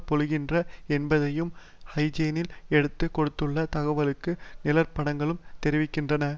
பொழிகின்றன என்பதையும் ஹைஜென்ஸ் எடுத்து கொடுத்துள்ள தகவல்களும் நிழற்படங்களும் தெரிவிக்கின்றன